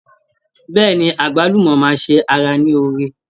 Bẹ́ẹ̀ni, àgbálùmọ́ máa ṣe ara ní oore.